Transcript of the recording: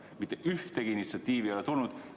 Aga mitte mingisugust initsiatiivi ei ole tulnud.